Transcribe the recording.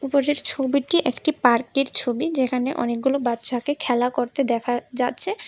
উপরের ছবিটি একটি পার্কের ছবি যেখানে অনেকগুলো বাচ্চাকে খেলা করতে দেখা যাচ্ছে।